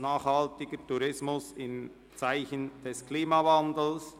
«Nachhaltiger Tourismus im Zeichen des Klimawandels».